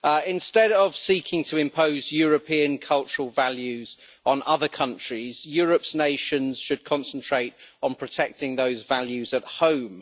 Instead of seeking to impose European cultural values on other countries, Europe's nations should concentrate on protecting those values at home.